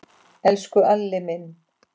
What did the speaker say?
Elsku Alli minn.